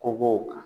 Ko b'o kan